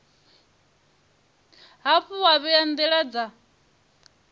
hafhu wa vhea ndila dza